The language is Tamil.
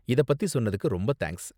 இத பத்தி சொன்னதுக்கு ரொம்ப தேங்க்ஸ்.